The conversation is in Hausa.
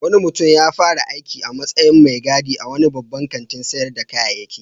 Wani mutum ya fara aiki a matsyin mai gadi a wani babban kantin sayar da kayayyaki